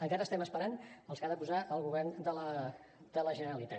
encara estem esperant els que hi ha de posar el govern de la generalitat